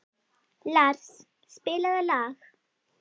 Lars, spilaðu lag.